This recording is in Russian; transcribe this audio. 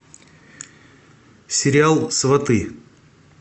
сериал сваты